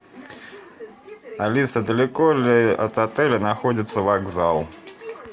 алиса далеко ли от отеля находится вокзал